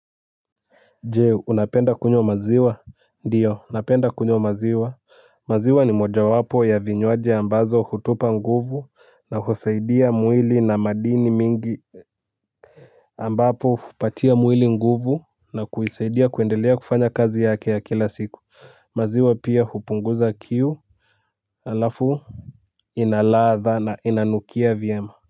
Jeo unapenda kunywa maziwa ndiyo napenda kunywa maziwa maziwa ni moja wapo ya vinywaji ambazo hutupa nguvu na kusaidia mwili na madini mingi ambapo hupatia mwili nguvu na kunisaidia kuendelea kufanya kazi yake ya kila siku maziwa pia hupunguza kiu. Halafu ina ladha na inanukia vyema.